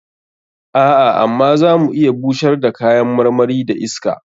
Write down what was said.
A'a, amma za mu iya bushar da kayan marmari da iska.